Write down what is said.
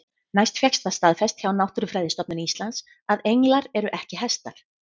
Næst fékkst það staðfest hjá Náttúrufræðistofnun Íslands að englar eru ekki hestar.